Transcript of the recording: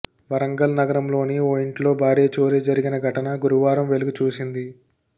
వరంగల్ నగరంలోని ఓ ఇంట్లో భారీ చోరీ జరిగిన ఘటన గురువారం వెలుగుచూసింది